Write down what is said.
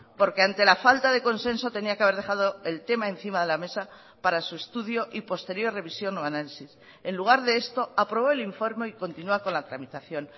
porque ante la falta de consenso tenía que haber dejado el tema encima de la mesa para su estudio y posterior revisión o análisis en lugar de esto aprobó el informe y continua con la tramitación